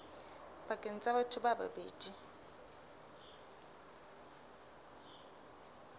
pakeng tsa batho ba babedi